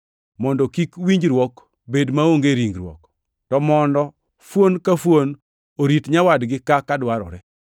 mondo kik winjruok bed maonge e ringruok; to mondo fuon ka fuon orit nyawadgi kaka dwarore.